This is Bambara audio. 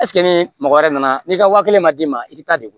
ni mɔgɔ wɛrɛ nana n'i ka waa kelen ma d'i ma i t'a degu